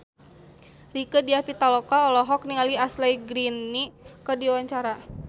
Rieke Diah Pitaloka olohok ningali Ashley Greene keur diwawancara